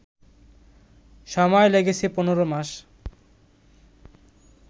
সময় লেগেছে ১৫ মাস